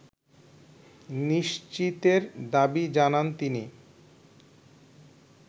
নিশ্চিতের দাবি জানান তিনি